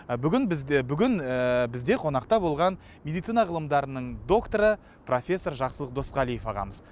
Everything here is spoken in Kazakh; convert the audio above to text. ы бүгін бізде бүгін ыыы бізде қонақта болған медицина ғылымдарының докторы профессор жақсылық досқалиев ағамыз